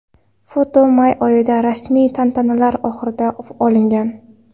Foto may oyida, rasmiy tantanalar oxirida olingan.